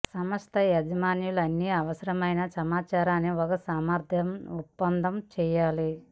సంస్థ యజమానులు అన్ని అవసరమైన సమాచారాన్ని ఒక సమర్థ ఒప్పందం చేయాలి